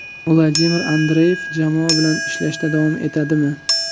Vladimir Andreyev jamoa bilan ishlashda davom etadimi?